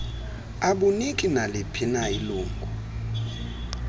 abuniki naliphina ilingu